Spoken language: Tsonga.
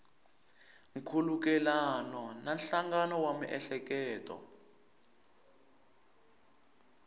nkhulukelano na nhlangano wa miehleketo